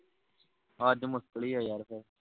ਅੱਜ ਮੁਸ਼ਕਿਲ ਹੀਂ ਹੈ ਯਾਰ